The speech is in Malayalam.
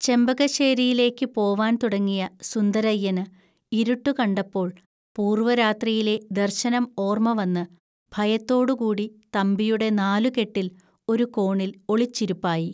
ചെമ്പകശ്ശേരിയിലേക്കു പോവാൻ തുടങ്ങിയ സുന്ദരയ്യന് ഇരുട്ടു കണ്ടപ്പോൽ പൂർവ്വരാത്രിയിലെ ദർശനം ഓർമ്മവന്ന് ഭയത്തോടുകൂടി തമ്പിയുടെ നാലുകെട്ടിൽ ഒരു കോണിൽ ഒളിച്ചിരുപ്പായി